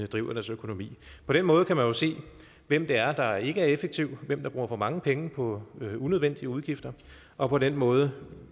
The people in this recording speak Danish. driver deres økonomi på den måde kan man jo se hvem det er der ikke er effektiv hvem der bruger for mange penge på unødvendige udgifter og på den måde